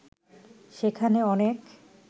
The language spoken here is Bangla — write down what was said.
সেখানে অনেক